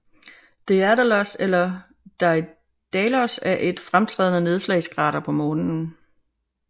Daedalus eller Daidalos er et fremtrædende nedslagskrater på Månen